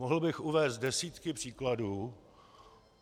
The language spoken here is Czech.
Mohl bych uvést desítky příkladů.